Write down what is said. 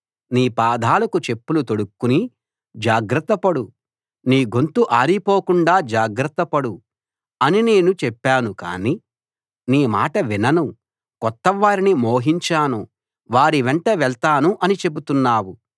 నీ పాదాలకు చెప్పులు తొడుక్కుని జాగ్రత్త పడు నీ గొంతు ఆరిపోకుండా జాగ్రత్తపడు అని నేను చెప్పాను కాని నీ మాట వినను కొత్తవారిని మోహించాను వారి వెంట వెళ్తాను అని చెబుతున్నావు